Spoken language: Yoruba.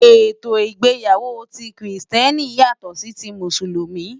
Étó igbéyàwó ti Kristièní yátò si ti Músúlùmí